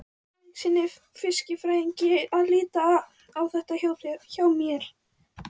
Friðrikssyni fiskifræðingi að líta á þetta hjá mér.